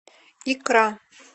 икра